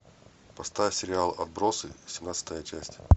поставь сериал отбросы семнадцатая часть